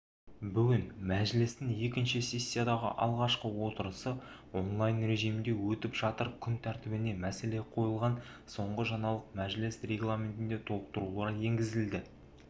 бүгін мәжілістің екінші сессиядағы алғашқы отырысы онлайн режимінде өтіп жатыр күн тәртібіне мәселе қойылған соңғы жаңалық мәжіліс регламентіне толықтырулар енгізілді